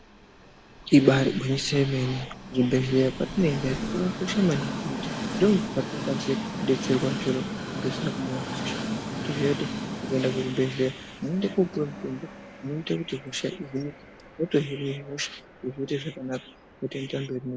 Ibari gwinyiso yemene kuzvibhedhlera kwatinoenda iyo kwakakosha maningi ngekuti ndokwatinokwanise kodetserwa chero zvisina kumira mushe toziye kuti ukaenda kuchibhedhleya unoenda kopuwa mutombo unoita kuti hosha ihinike wotohine hosha zviro zvoite zvakanaka wotoendera mberi ne.